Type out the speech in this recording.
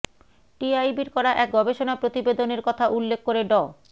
টিআইবির করা এক গবেষণা প্রতিবেদনের কথা উল্লেখ করে ড